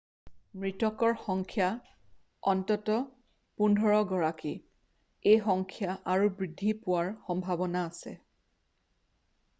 মৃতকৰ সংখ্যা অন্ততঃ 15 গৰাকী এই সংখ্যা আৰু বৃদ্ধি পোৱাৰ সম্ভাৱনা আছে